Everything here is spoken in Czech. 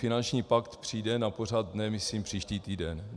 Finanční pakt přijde na pořad dne myslím příští týden.